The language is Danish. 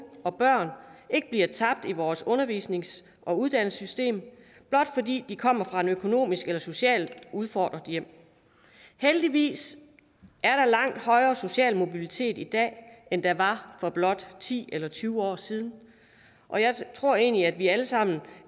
og børn ikke bliver tabt i vores undervisnings og uddannelsessystem blot fordi de kommer fra et økonomisk eller socialt udfordret hjem heldigvis er der langt højere social mobilitet i dag end der var for blot ti eller tyve år siden og jeg tror egentlig at vi alle sammen